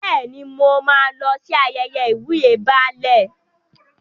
Bẹ́ẹ̀ni, mo máa lọ sí ayẹyẹ ìwúyè Baálẹ̀.